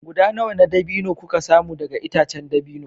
Guda nawa na dabino na dabino kuka samu daga itacen dabino